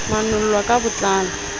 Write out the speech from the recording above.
manol lwa ka bo tlalo